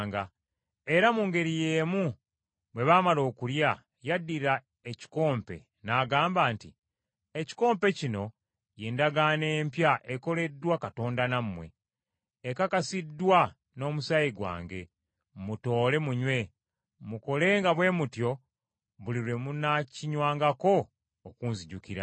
Era mu ngeri y’emu bwe baamala okulya, yaddira ekikompe n’agamba nti, “Ekikompe kino y’endagaano empya ekoleddwa Katonda nammwe, ekakasiddwa n’omusaayi gwange, mutoole munywe, mukolenga bwe mutyo buli lwe munaakinywangako okunzijukiranga.”